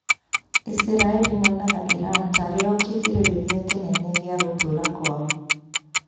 Isiraĩri monaga Iran tarĩ o kĩgirĩrĩrĩa kĩnene gĩa gũtũra kwao